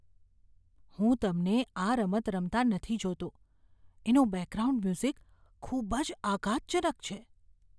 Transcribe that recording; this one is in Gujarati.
હું તમને આ રમત રમતા નથી જોતો. એનું બેકગ્રાઉન્ડ મ્યુઝિક ખૂબ જ આઘાતજનક છે!